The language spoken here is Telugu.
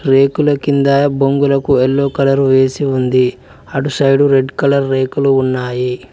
రేకుల కింద బొంగులకు ఎల్లో కలర్ వేసి ఉంది అటు సైడ్ రెడ్ కలర్ రేకులు ఉన్నాయి.